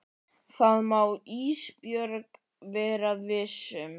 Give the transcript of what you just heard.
Það má Ísbjörg vera viss um.